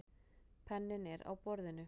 Penninn er á borðinu.